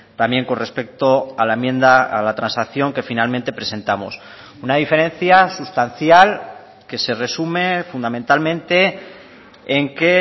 también con respecto a la enmienda a la transacción que finalmente presentamos una diferencia sustancial que se resume fundamentalmente en que